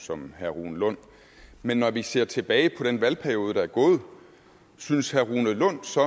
som herre rune lund men når vi ser tilbage på den valgperiode der er gået synes herre rune lund så